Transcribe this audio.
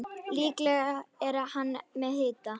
Líklega er hann með hita.